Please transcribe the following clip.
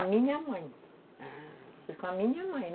A minha mãe. Foi com a minha mãe, ah